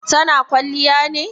Ta na kwalliya ne?